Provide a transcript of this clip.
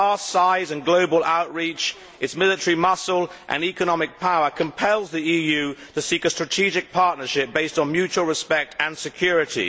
Its vast size and global outreach, its military muscle and economic power compel the EU to seek a strategic partnership based on mutual respect and security.